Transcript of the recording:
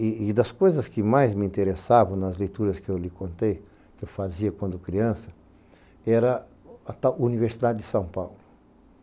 E das coisas que mais me interessavam nas leituras que eu lhe contei, que eu fazia quando criança, era a Universidade de São Paulo.